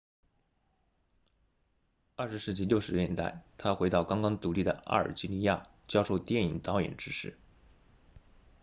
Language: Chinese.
20世纪60年代他回到刚刚独立的阿尔及利亚教授电影导演知识